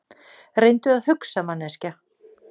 Reyndu að hugsa, manneskja.